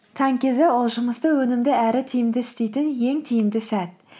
таң кезі ол жұмысты өнімді әрі тиімді істейтін ең тиімді сәт